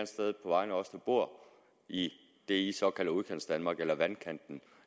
sted på vegne af os der bor i det såkaldte udkantsdanmark eller vandkanten